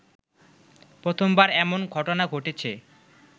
প্রথমবার এমন ঘটনা ঘটছে